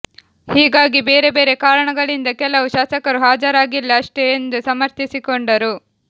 ಹೀಗಾಗಿ ಬೇರೆ ಬೇರೆ ಕಾರಣಗಳಿಂದ ಕೆಲವು ಶಾಸಕರು ಹಾಜರಾಗಿಲ್ಲ ಅಷ್ಟೇ ಎಂದು ಸಮರ್ಥಿಸಿಕೊಂಡರು